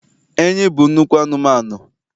enyí bụ nnukwu anụmanụ